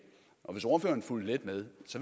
og hvis ordføreren havde fulgt lidt med